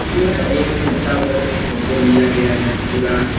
यह एक छत्ता पर से फोटो लिया गया है पूरा --